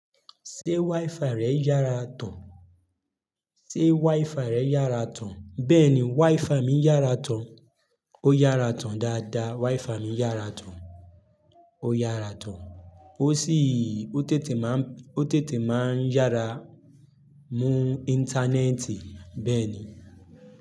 Ṣé WiFi rẹ yára tán? Ṣé WiFi rẹ yára tán? Bẹ́ẹ̀ni WiFi mi yára tán, ó yára tán dáadáa. WiFi mi yára tán, ó yára tán ó sì ó tètè máa ń, ó tètè máa ń yára mú Íńtánẹ́ẹ̀tì bẹ́ẹ̀ ni.